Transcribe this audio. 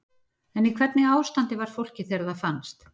En í hvernig ástandi var fólkið þegar það fannst?